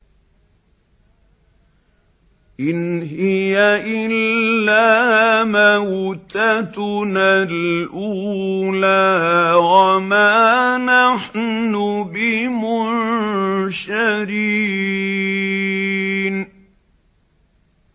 إِنْ هِيَ إِلَّا مَوْتَتُنَا الْأُولَىٰ وَمَا نَحْنُ بِمُنشَرِينَ